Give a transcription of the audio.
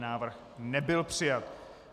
Návrh nebyl přijat.